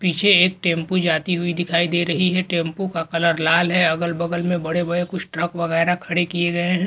पीछे एक टेम्पू जाती हुई दिखाई दे रही है टेम्पू का कलर लाल है अगल बगल में बड़े बड़े कुछ ट्रक वग़ैरा खड़े किए गए हैं |